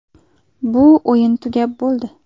Bu o‘yin tugab bo‘ldi.